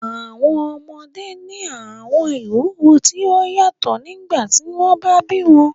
Àwọn ọmọde ni àwọn ìwuwo ti o yatọ nigbati wọn ba bi wọn